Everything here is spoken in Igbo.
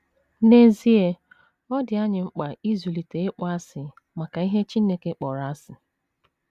N’ezie, ọ dị anyị mkpa ịzụlite ịkpọasị maka ihe Chineke kpọrọ asị.